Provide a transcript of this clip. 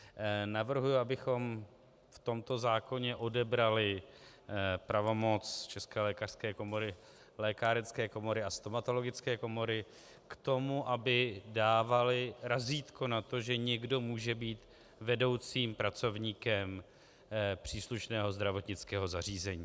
Navrhuji, abychom v tomto zákoně odebrali pravomoc České lékařské komory, lékárenské komory a stomatologické komory k tomu, aby dávaly razítko na to, že někdo může být vedoucím pracovníkem příslušného zdravotnického zařízení.